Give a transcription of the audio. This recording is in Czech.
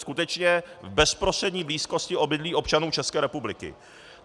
Skutečně v bezprostřední blízkosti obydlí občanů České republiky.